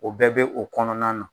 O bɛɛ bɛ o kɔnɔna na.